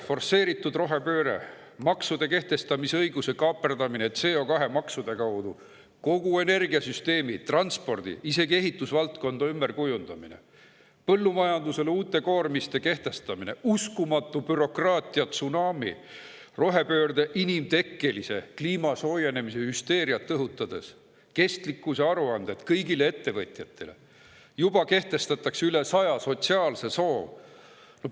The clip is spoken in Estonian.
Forsseeritud rohepööre; maksude kehtestamise õiguse kaaperdamine CO2-maksude kaudu; kogu energiasüsteemi, transpordi- ja isegi ehitusvaldkonna ümberkujundamine; põllumajandusele uute koormiste kehtestamine; uskumatu bürokraatiatsunami; rohepööre inimtekkelise kliima soojenemise hüsteeriat õhutades; kestlikkusaruanded kõigile ettevõtjatele; ja juba kehtestatakse üle saja sotsiaalse soo.